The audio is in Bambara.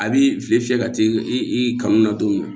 A b'i fɛ ka t'i kanu na don min na